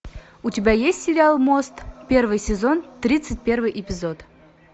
у тебя есть сериал мост первый сезон тридцать первый эпизод